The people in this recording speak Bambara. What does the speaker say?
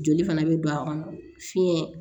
Joli fana bɛ don a kɔnɔ fiɲɛ